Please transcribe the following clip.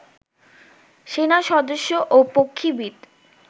সেনাসদস্য ও পক্ষীবিদ